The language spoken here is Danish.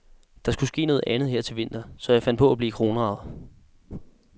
Der skulle ske noget andet her til vinter, så jeg fandt på at blive kronraget.